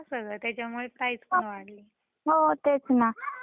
हो तेच ना फॅशनेबल झालंय सगळ.